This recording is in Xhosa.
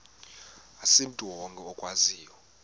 asimntu wonke okwaziyo